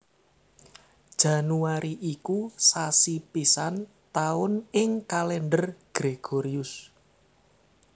Januari iku sasi pisan taun ing Kalendher Gregorius